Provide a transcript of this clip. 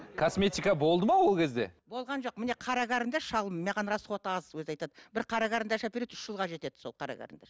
косметика болды ма ол кезде болған жоқ міне қара карандаш шалым маған расходы аз өзі айтады бір қара қарандаш әпереді үш жылға жетеді сол қара карандаш